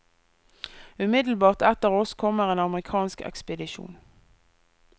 Umiddelbart etter oss kommer en amerikansk ekspedisjon.